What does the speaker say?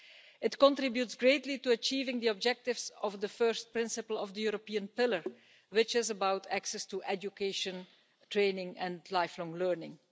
It contributes greatly to achieving the objectives of the first principle of the European Pillar, which is about access to education, training and lifelong learning.